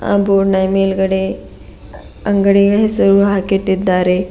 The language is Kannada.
ಬೋರ್ಡ್ ನ ಮೇಲ್ಗಡೆ ಅಂಗಡಿಯ ಹೆಸರು ಹಾಕಿಟ್ಟಿದ್ದಾರೆ.